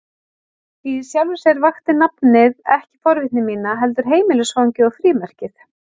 Í sjálfu sér vakti nafnið ekki forvitni mína, heldur heimilisfangið og frímerkið.